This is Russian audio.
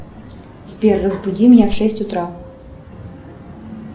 сбер разбуди меня в шесть утра